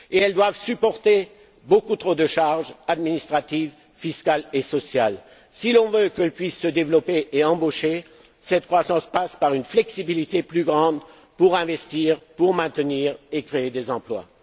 crise. Or, elles doivent supporter beaucoup trop de charges administratives, fiscales et sociales. Si l'on veut qu'elles puissent se développer et embaucher, cette croissance passe par une flexibilité plus grande pour investir ainsi que pour maintenir et créer des emplois.